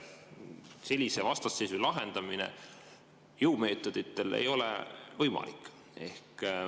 Sellise vastasseisu lahendamine jõumeetoditel ei ole võimalik.